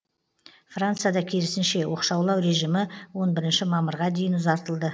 францияда керісінше оқшаулау режимі он бірінші мамырға дейін ұзартылды